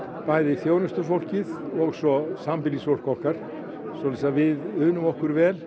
þjónustufólkið og sambýlisfólk okkar við unum okkur vel